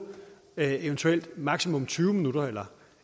eventuelt maksimalt tyve minutter eller